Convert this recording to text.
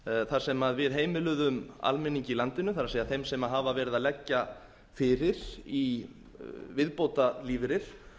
þar sem við heimiluðum almenningi í landinu það er þeim sem hafa verið að leggja fyrir í viðbótarlífeyri